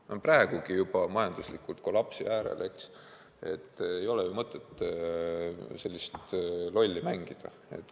Nad on praegugi juba majanduslikult kollapsi äärel, ei ole mõtet selliselt lolli mängida.